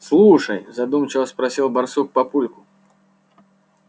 слушай задумчиво спросил барсук папульку